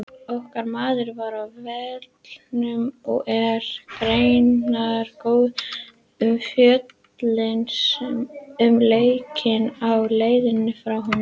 Okkar maður var á vellinum og er greinargóð umfjöllun um leikinn á leiðinni frá honum.